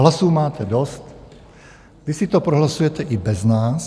Hlasů máte dost, vy si to prohlasujete i bez nás.